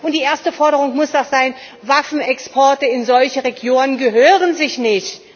Die erste Forderung muss doch sein Waffenexporte in solche Regionen gehören sich nicht!